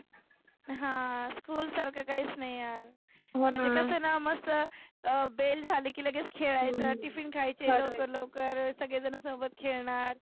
हा school सारख काहीच नाही यार. कसं ना मस्त अं bell झाली की लगेच खेळायच tiffin खायचे लवकर लवकर सगळे जन सोबत खेळनार.